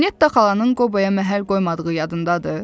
Netta xalanın Qoboya məhəl qoymadığı yadındadır?